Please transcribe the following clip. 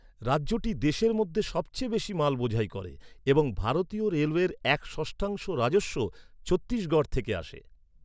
রাজ্যটি দেশের মধ্যে সবচেয়ে বেশি মাল বোঝাই করে এবং ভারতীয় রেলওয়ের এক ষষ্ঠাংশ রাজস্ব ছত্তিশগড় থেকে আসে।